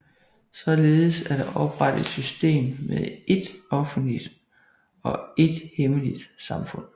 Således er der oprettet et system med ét offentligt og ét hemmeligt samfund